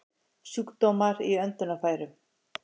Sjúkdómar í öndunarfærum